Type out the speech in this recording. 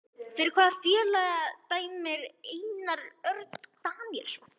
Fyrir hvaða félag dæmir Einar Örn Daníelsson?